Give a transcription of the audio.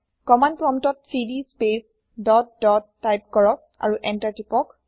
command প্ৰম্পতত CD space dot dot type কৰক আৰু এন্তাৰ টিপক